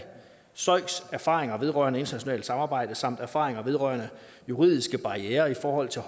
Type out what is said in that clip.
søiks erfaringer vedrørende internationalt samarbejde samt erfaringer vedrørende juridiske barrierer i forhold til